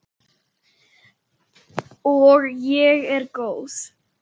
Og ég er góð.